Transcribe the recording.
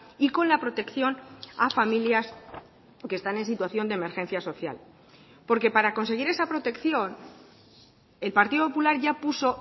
y con la protección a familias que están en situación de emergencia social porque para conseguir esa protección el partido popular ya puso